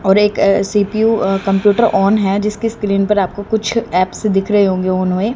और एक अह सी_पी_यू अह कंप्यूटर ऑन है जिसकी स्क्रीन पर आपको कुछ ऐप्स दिख रहे होंगे ऑन हुए।